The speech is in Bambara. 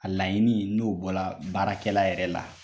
A laɲini n'o bɔra baarakɛla yɛrɛ la